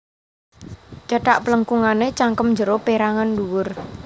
Cethak plengkungané cangkem njero pérangan ndhuwur